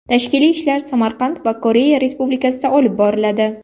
Tashkiliy ishlar Samarqand va Koreya Respublikasida olib boriladi.